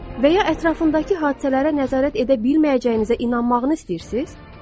Və ya ətrafındakı hadisələrə nəzarət edə bilməyəcəyinizə inanmağınızı istəyirsiz?